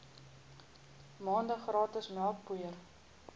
maande gratis melkpoeier